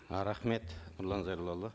ы рахмет нұрлан зайроллаұлы